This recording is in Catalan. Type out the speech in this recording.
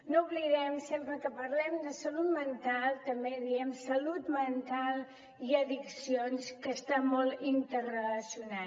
no ho oblidem sempre que parlem de salut mental també diem salut mental i addiccions que està molt interrelacionat